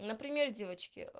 например девочки